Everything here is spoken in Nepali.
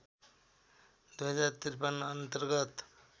२०५३ अन्तर्गत